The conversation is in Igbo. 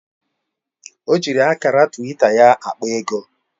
O ji akara twita ya akpa ego